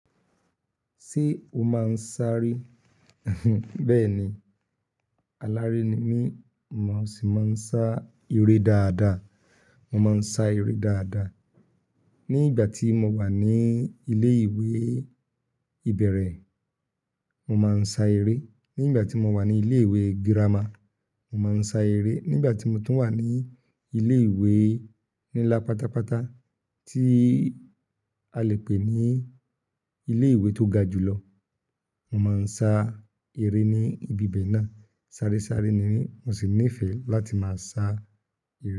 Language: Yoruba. Ṣé o máa ń sáré? Bẹ́ẹ̀ ni, aláré ni mí, màá sì máa ń sá eré dáadáa. Mo máa ń sá eré dáadáa. Ní ìgbà tí mo wà ní ilé ìwé ìbẹ̀rẹ̀, mo máa ń sá eré. Ní ìgbà tí mo wà ní ilé ìwé girama, mo máa ń sá eré. Ní ìgbà tí mo tún wà ní ilé ìwé nílá pátápátá, tí a lè pè ní ilé ìwé tó ga jù lọ, mo máa ń sá eré ní ibi bẹ̀ náà. Sáré sáré ni mí, mo sì nífẹ̀ẹ́ láti máa sá eré.